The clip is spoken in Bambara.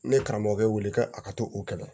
Ne ye karamɔgɔkɛ wele a ka to o kɛlɛ